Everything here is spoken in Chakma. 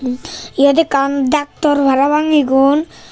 eyot akkan daktor parapang egon.